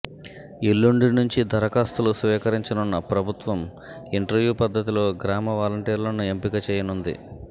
ఎల్లుండి నుంచి దరఖాస్తులు స్వీకరించనున్న ప్రభుత్వం ఇంటర్వ్యూ పద్ధతిలో గ్రామ వాలంటీర్లను ఎంపిక చేయనుంది